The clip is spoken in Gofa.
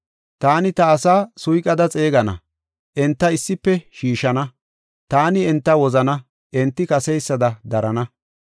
“Taani ta asaa suyqada xeegana; enta issife shiishana. Taani enta wozana; enti kaseysada darana.